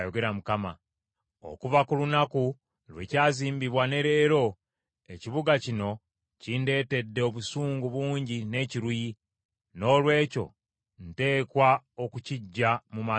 Okuva ku lunaku lwe kyazimbibwa ne leero, ekibuga kino kindeetedde obusungu bungi n’ekiruyi, noolwekyo nteekwa okukiggya mu maaso gange.